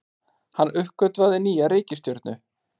Hann uppgötvaði nýja reikistjörnu!